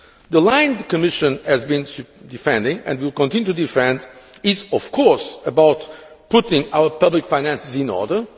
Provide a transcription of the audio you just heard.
The line the Commission has been defending, and will continue to defend, is of course about putting our public finances in order.